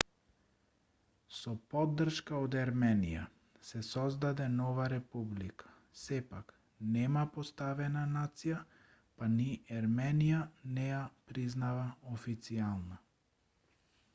со поддршка од ерменија се создаде нова република сепак нема поставена нација па ни ерменија не ја признава официјално